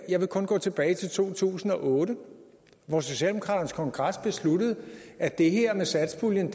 jeg vil kun gå tilbage til to tusind og otte hvor socialdemokraternes kongres besluttede at det her med satspuljen